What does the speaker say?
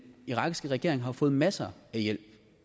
irakiske regering har jo fået masser af hjælp